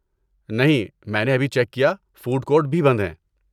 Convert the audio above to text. نہیں، میں نے ابھی چیک کیا، فوڈ کورٹ بھی بند ہیں۔